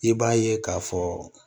I b'a ye k'a fɔ